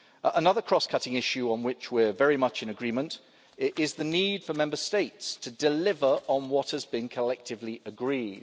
Another cross cutting issue on which we are very much in agreement is the need for Member States to deliver on what has been collectively agreed.